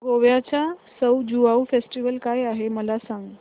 गोव्याचा सउ ज्युआउ फेस्टिवल काय आहे मला सांग